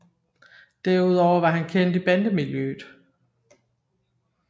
Derudover var han kendt i bandemiljøet